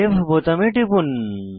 save বোতামে টিপুন